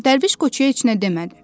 Dərviş Qoçuya heç nə demədi.